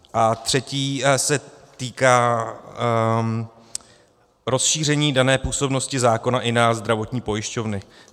A třetí se týká rozšíření dané působnosti zákona i na zdravotní pojišťovny.